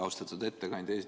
Austatud ettekandja!